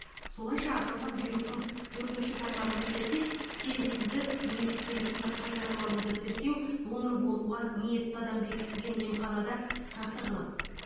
солайша аталған бұйрықтың төртінші тармағына сәйкес келісімді немесе келісімді қайтарып алуды тіркеу донор болуға ниетті адам бекітілген емханада іске асырылады